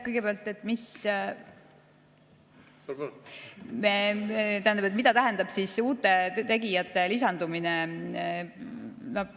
Kõigepealt, mida tähendab uute tegijate lisandumine?